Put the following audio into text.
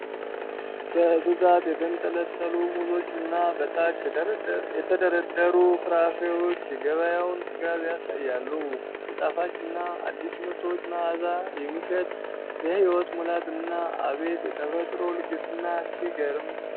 በብዛት የተንጠለጠሉ ሙዞችና በታች የተደረደሩ ፍራፍሬዎች የገበያውን ጥጋብ ያሳያሉ። የጣፋጭና አዲስ ምርቶች መዓዛ የሚሸት የሕይወት ሙላትና አቤት የተፈጥሮ ልግስና ሲግርም!